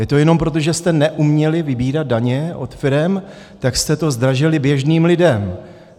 Je to jenom proto, že jste neuměli vybírat daně od firem, tak jste to zdražili běžným lidem.